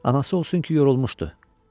Anası olsun ki yorulmuşdu.